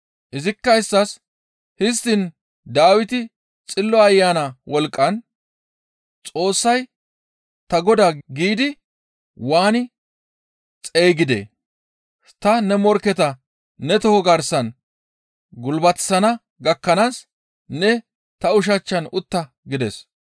Izikka isttas, «Histtiin Dawiti Xillo Ayana wolqqan, ‹Xoossay ta Godaa› giidi waani xeygidee? ‹Ta ne morkketa ne toho garsan gulbatissana gakkanaas ne ta ushachchan utta!› gides.